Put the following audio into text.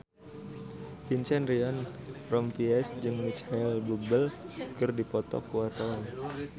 Vincent Ryan Rompies jeung Micheal Bubble keur dipoto ku wartawan